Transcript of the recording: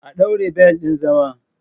A ɗaure bel ɗin zama!